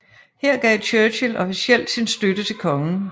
Her gav Churchill officielt sin støtte til kongen